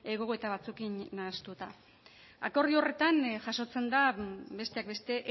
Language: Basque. gogoeta batzuekin nahastuta akordio horretan jasotzen da besteak beste